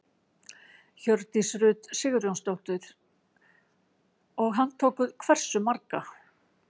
Hjördís Rut Sigurjónsdóttir: Og handtókuð hversu marga?